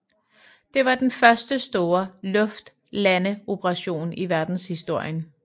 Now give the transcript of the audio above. Det var den første store luftlandeoperation i verdenshistorien